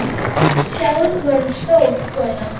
Sjálf var hún stór kona.